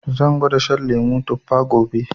Zan gwada shan lemu tuffa gobe